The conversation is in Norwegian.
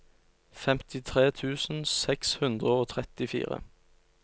femtitre tusen seks hundre og trettifire